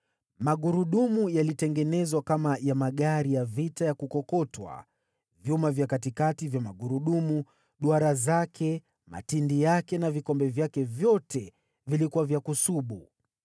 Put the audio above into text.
Magurudumu yalitengenezwa kama ya magari ya vita ya kukokotwa, vyuma vya katikati vya magurudumu, duara zake, matindi yake na vikombe vyake vyote vilikuwa vya kusubu.